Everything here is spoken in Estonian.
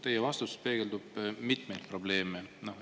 Teie vastus peegeldab mitmeid probleeme.